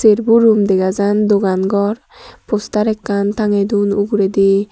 ekko room dega jan dogan ghor poster ekkan tangey dun uguredi.